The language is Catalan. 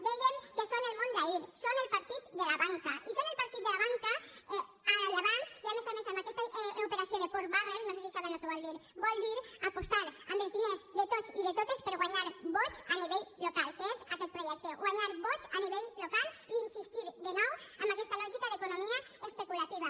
dèiem que són el món d’ahir són el partit de la banca i són el partit de la banca ara i abans i a més a més amb aquesta operació de pork barrel no sé si saben el que vol dir vol dir apostar amb els diners de tots i de totes per a guanyar vots a nivell local que és aquest projecte guanyar vots a nivell local i insistir de nou en aquesta lògica d’economia especulativa